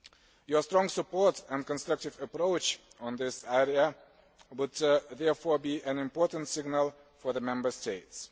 Your strong support and constructive approach in this area would therefore be an important signal for the Member States.